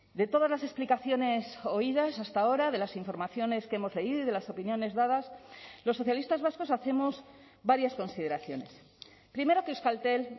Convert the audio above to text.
de todas las explicaciones oídas hasta ahora de las informaciones que hemos leído y de las opiniones dadas los socialistas vascos hacemos varias consideraciones primero que euskaltel